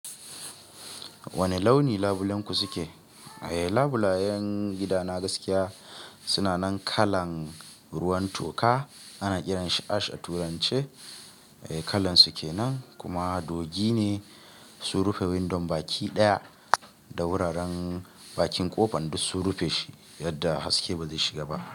Wane launi labulenku suke? Eh, labulayen gidana gaskiya suna nan kalan ruwan toka ana kiranshi ash a turance. Eh, kalan su kenan kuma dogi ne. Sun rufe windon baki ɗaya da wuraren bakin ƙofa duk sun rufe shi yadda haske ba zai shiga ba.